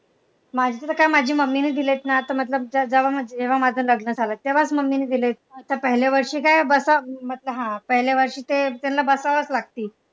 माझी तर काय माझी मम्मीनं दिलेत ना तर मतलब जेव्हा माझं लग्न झालं तेव्हाच मम्मीने दिलेत. आता पहिल्या वर्षी काय बसावं हा पहिल्या वर्षी ते तेंना बसावं लागती.